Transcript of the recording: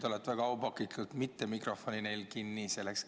Te olete väga aupaklikult käitunud ja neil mikrofoni mitte kinni keeranud.